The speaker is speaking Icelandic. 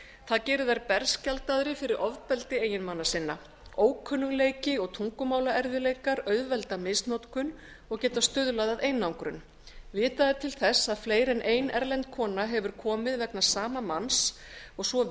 það gerir þær berskjaldaðri fyrir ofbeldi eiginmanna sinna ókunnugleiki og tungumálaerfiðleikar auðvelda misnotkun og geta stuðlað að einangrun vitað er til þess að fleiri en ein erlend kona hefur komið vegna sama manns og svo